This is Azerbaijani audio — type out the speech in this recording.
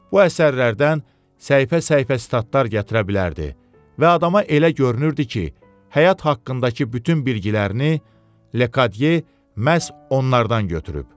Bu əsərlərdən səhifə-səhifə statlar gətirə bilərdi və adama elə görünürdü ki, həyat haqqındakı bütün bilgilərini Ledye məhz onlardan götürüb.